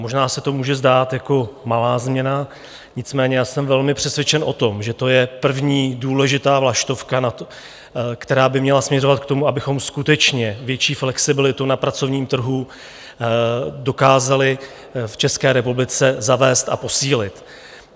Možná se to může zdát jako malá změna, nicméně já jsem velmi přesvědčen o tom, že to je první důležitá vlaštovka, která by měla směřovat k tomu, abychom skutečně větší flexibilitu na pracovním trhu dokázali v České republice zavést a posílit.